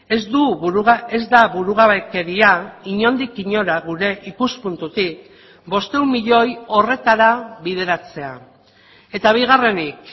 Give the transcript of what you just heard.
ez du ez da burugabekeria inondik inora gure ikuspuntutik bostehun milioi horretara bideratzea eta bigarrenik